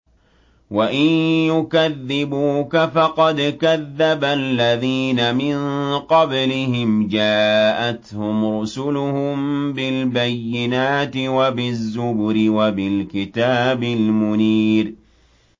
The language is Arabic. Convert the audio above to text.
وَإِن يُكَذِّبُوكَ فَقَدْ كَذَّبَ الَّذِينَ مِن قَبْلِهِمْ جَاءَتْهُمْ رُسُلُهُم بِالْبَيِّنَاتِ وَبِالزُّبُرِ وَبِالْكِتَابِ الْمُنِيرِ